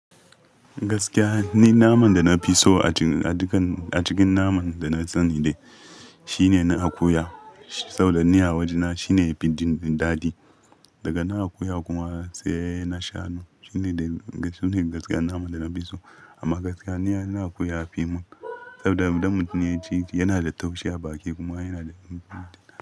Gaskiya ni naman da na fi so a cikin, a cikin naman da na san shi ne na akuya. Saboda ni a wajena shine bindi dadi. Daga na akuya kuma sai na shanu. Shi ne, su ne gaskiyar naman da na fi so. Amma gaskiya ni akuya a fim saboda mutane ci yana da taushe a baki kuma yana da.